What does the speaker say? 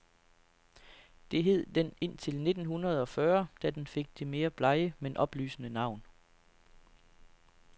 Det hed den indtil nitten hundede og fyrre, da den fik det mere blege, men oplysende navn.